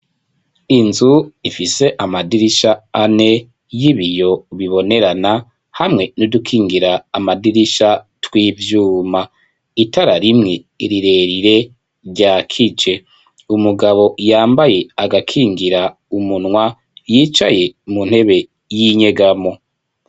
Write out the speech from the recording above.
Inzu ifise amadirisha ane y'ibiyo bibonerana hamwe n'udukingira amadirisha tw'ivyuma itara rimwe rirerire ryakije umugabo yambaye agakingira umunwa yicaye mu ntebe y'inyegamo.